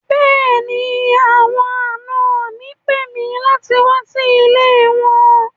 Bẹ́ẹ̀ni, àwọn àná mi ń pè mi láti wà sí ilẹ̀ wọn